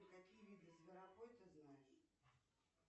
какие виды зверобой ты знаешь